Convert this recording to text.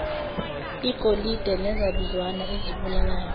igolide nezabizwana ezibalulayo